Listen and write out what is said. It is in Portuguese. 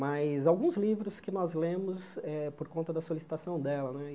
Mas alguns livros que nós lemos eh por conta da solicitação dela né e.